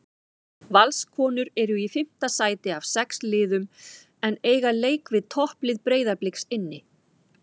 Valskonur eru í fimmta sæti af sex liðum en eiga leik við topplið Breiðabliks inni.